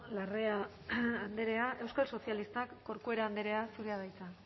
larrea andrea euskal sozialistak corcuera andrea zurea da hitza